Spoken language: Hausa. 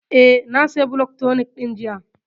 Eh, na saya blood tonic ɗin jiya